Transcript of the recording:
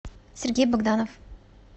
сергей богданов